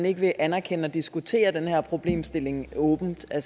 ikke vil anerkende og diskutere den her problemstilling åbent jeg